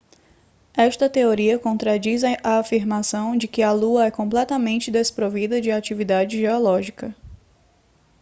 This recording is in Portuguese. esta teoria contradiz a afirmação de que a lua é completamente desprovida de atividade geológica